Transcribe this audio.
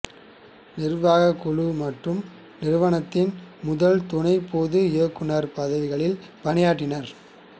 நிர்வாக குழு மற்றும் நிறுவனத்தின் முதல் துணை பொது இயக்குநர் பதவிகளில் பணியாற்றினார்